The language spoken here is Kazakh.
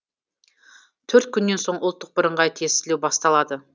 төрт күннен соң ұлттық бірыңғай тестілеу басталады